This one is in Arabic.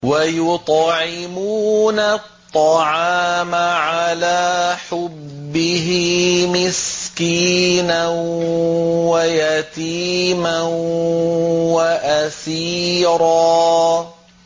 وَيُطْعِمُونَ الطَّعَامَ عَلَىٰ حُبِّهِ مِسْكِينًا وَيَتِيمًا وَأَسِيرًا